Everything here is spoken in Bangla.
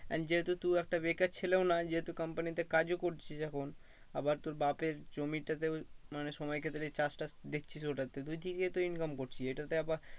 And যেহেতু তুই একটা বেকার ছেলেও না যেহেতু company তে কাজও করছিস এখন আবার তোর বাপের জমিটাতেও মানে সময় চাষটা দেখছিস ওটা দুই দিকে তো income করছিস। এটাতে আবার